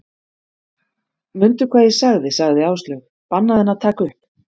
Mundu hvað ég sagði sagði Áslaug, bannaðu henni að taka upp